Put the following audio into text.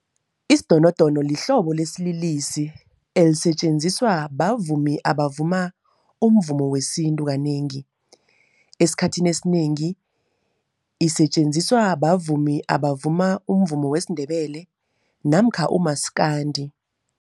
Isidonodono lihlobo lesililisi elisetjenziswa bavumi abavuma umvumo wesintu kanengi. Esikhathini esinengi isetjenziswa bavumi abavuma umvumo wesiNdebele namkha uMaskandi.